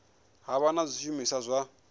ha vha na zwishumiswa zwa